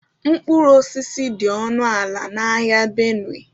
Mkpụrụ osisi dị ọnụ ala na ahịa Benue